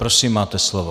Prosím, máte slovo.